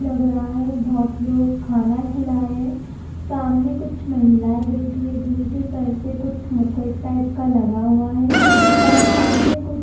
लग रहा है बहोत लोग खाना खिला रे हैं सामने कुछ महिलाएं बैठी है जिनके सर पर कुछ मुकुट टाइप का लगा हुआ है और सामने कुछ--